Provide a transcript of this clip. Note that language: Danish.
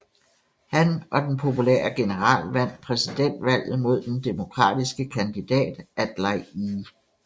Han og den populære general vandt præsidentvalget mod den demokratiske kandidat Adlai E